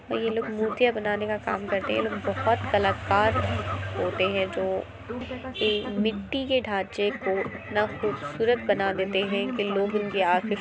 ये लोग मूर्तियां बनाने का काम करते हैं ये लोग बहोत कलाकार होते हैं जो एक मिट्टी के ढांचे को इतना खूबसूरत बना देते हैं की लोग इनके--